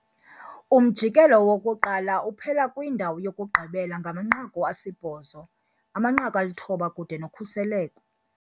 Umjikelo wokuqala uphela kwindawo yokugqibela ngamanqaku asibhozo, amanqaku alithoba kude nokhuseleko.